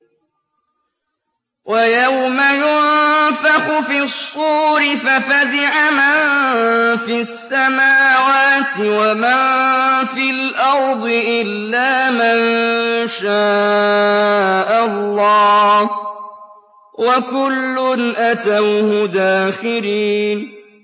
وَيَوْمَ يُنفَخُ فِي الصُّورِ فَفَزِعَ مَن فِي السَّمَاوَاتِ وَمَن فِي الْأَرْضِ إِلَّا مَن شَاءَ اللَّهُ ۚ وَكُلٌّ أَتَوْهُ دَاخِرِينَ